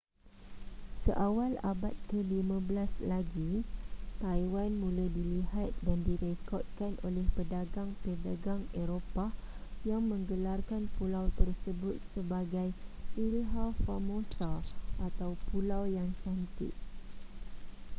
seawal abad ke-15 lagi taiwan mula dilihat dan direkodkan oleh pedagang-pedagang eropah yang menggelarkan pulau tersebut sebagai iiha formosa atau pulau yang cantik